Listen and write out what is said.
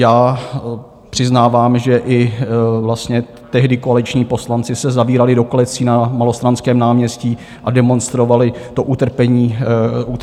Já přiznávám, že i vlastně tehdy koaliční poslanci se zavírali do klecí na Malostranském náměstí a demonstrovali to utrpení zvířat.